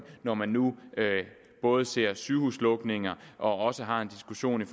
når man nu både ser sygehuslukninger og også har en diskussion